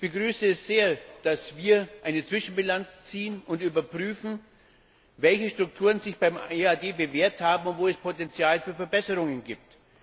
Ich begrüße es sehr, dass wir eine Zwischenbilanz ziehen und überprüfen, welche Strukturen sich beim EAD bewährt haben und wo es Potential für Verbesserungen gibt.